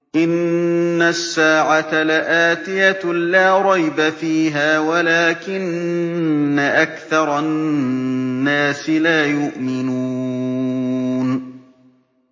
إِنَّ السَّاعَةَ لَآتِيَةٌ لَّا رَيْبَ فِيهَا وَلَٰكِنَّ أَكْثَرَ النَّاسِ لَا يُؤْمِنُونَ